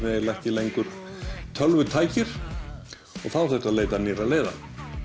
ekki lengur tölvutækir og þá þurfti að leita nýrra leiða